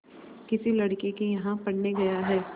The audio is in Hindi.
किसी लड़के के यहाँ पढ़ने गया है